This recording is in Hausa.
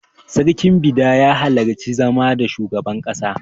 Sarkin Bida ya halarci zama da shugaban ƙasa.